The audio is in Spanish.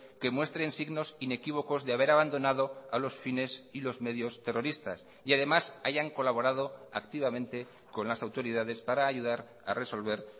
que muestren signos inequívocos de haber abandonado a los fines y los medios terroristas y además hayan colaborado activamente con las autoridades para ayudar a resolver